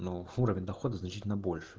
ну уровень дохода значительно больше